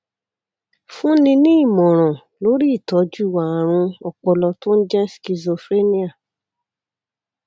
fúnni ní ìmọràn lórí ìtọjú ààrùn ọpọlọ tó ń jẹ schizophrenia